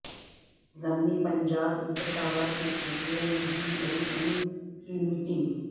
ضمنی پنچایت انتخابات کے سلسلہ میں ڈ ی ایم نے کی میٹنگ